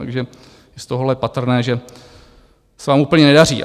Takže z toho je patrné, že se vám úplně nedaří.